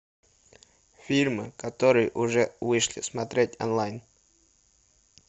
фильмы которые уже вышли смотреть онлайн